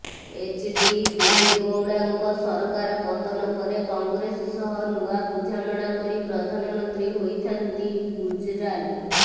H D ଦେବେଗୌଡାଙ୍କ ସରକାର ପତନ ପରେ କଂଗ୍ରେସ ସହ ନୂଆ ବୁଝାମଣା କରି ପ୍ରଧାନମନ୍ତ୍ରୀ ହୋଇଥାନ୍ତି ଗୁଜରାଲ୍